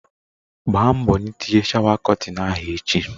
Gba mbọ na ị tinyere sháwà kọtịn ahụ echi!